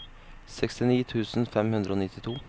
sekstini tusen fem hundre og nittito